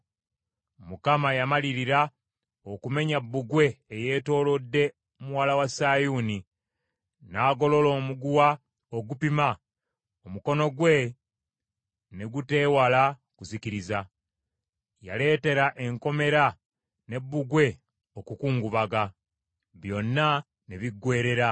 Mukama yamalirira okumenya bbugwe eyeetoolodde muwala wa Sayuuni, n’agolola omuguwa ogupima, Omukono gwe ne guteewala kuzikiriza. Yaleetera enkomera ne bbugwe okukungubaga, byonna ne biggweerera.